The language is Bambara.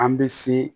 An bɛ se